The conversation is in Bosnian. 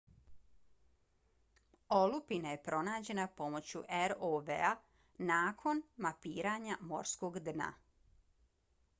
olupina je pronađena pomoću rov-a nakon mapiranja morskog dna